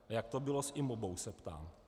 A jak to bylo s IMOBA? se ptám.